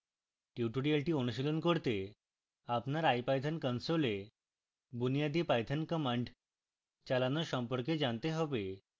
tutorial অনুশীলন করতে আপনার ipython console এ বুনিয়াদি পাইথন কমান্ড চালানো সম্পর্কে জানতে হবে